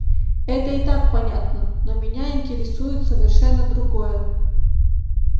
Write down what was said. это и так понятно но меня интересует совершенно другое